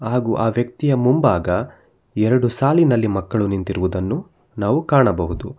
ಹಾಗು ಆ ವ್ಯಕ್ತಿಯ ಮುಂಬಾಗ ಎರಡು ಸಾಲಿನಲ್ಲಿ ಮಕ್ಕಳು ನಿಂತಿರುವುದನ್ನು ನಾವು ಕಾಣಬಹುದು.